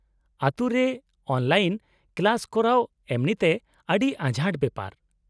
-ᱟᱹᱛᱩ ᱨᱮ online class ᱠᱚᱨᱟᱣ ᱮᱢᱱᱤᱛᱮ ᱟᱹᱰᱤ ᱟᱸᱡᱷᱟᱴ ᱵᱮᱯᱟᱨ ᱾